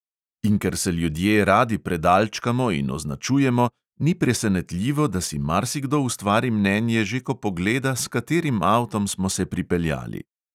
In ker se ljudje radi predalčkamo in označujemo, ni presenetljivo, da si marsikdo ustvari mnenje že, ko pogleda, s katerim avtom smo se pripeljali.